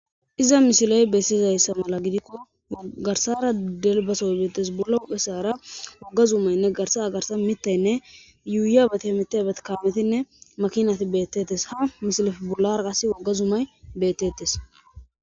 iza mishiley bessizayssa mala gidikko garsara delbasoy beettes bulla uphe saara wagga zuumaynne garsa agarsa mittaynne yuuya batamita batkaametinne makinat beettettes ha misilif bulara qas wagga zumay beettettes